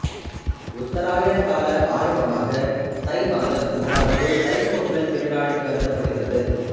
உத்தராயண கால ஆரம்பமாக தை மாதம் அதாவது தைப்பொங்கல் திருநாள் கருதப்படுகிறது